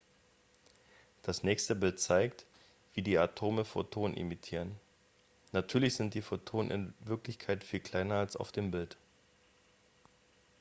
das nächste bild zeigt wie die atome photonen emittieren natürlich sind die photonen in wirklichkeit viel kleiner als auf dem bild